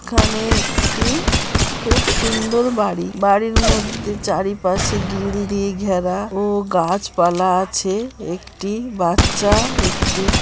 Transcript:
এখানে একটি খুব সুন্দর বাড়ি। বাড়ির মধ্যে চারিপাশে গ্রিল দিয়ে ঘেরা ও গাছপালা আছে একটি বাচ্চা একটি।